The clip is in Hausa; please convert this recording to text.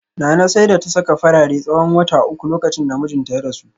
Nana sai da ta saka farare tsawon wata uku lokacin da mijinta ya rasu